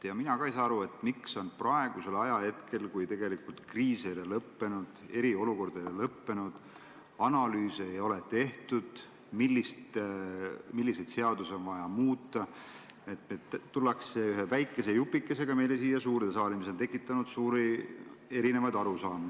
Ka mina ei saa aru, miks on praegu, kui kriis ei ole veel lõppenud, eriolukord ei ole lõppenud ja pole tehtud analüüse, milliseid seadusi on vaja muuta, tuldud siia suurde saali ühe väikese jupikesega, mis on tekitanud suuri eriarusaamu.